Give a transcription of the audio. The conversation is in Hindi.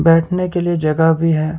बैठने के लिए जगह भी है।